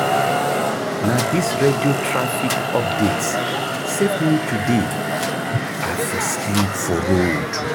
Na dis radio traffic updates save me today, I for sleep for road.